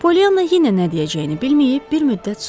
Polyana yenə nə deyəcəyini bilməyib bir müddət susdu.